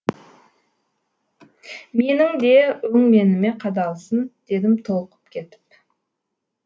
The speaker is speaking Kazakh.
менің де өңменіме қадалсын дедім толқып кетіп